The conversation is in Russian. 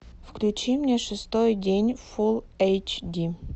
включи мне шестой день фулл эйч ди